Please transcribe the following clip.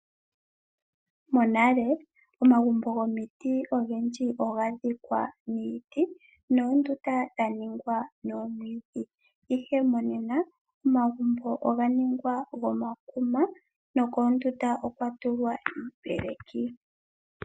Mo nale omagumbo gomiti ogendji oga dhikwa niiti, noondunda dha ningwa nomwiidhi. Ihe monena omagumbo oga ningwa nomakuma nokoondunda okwa tulwa iipeleki.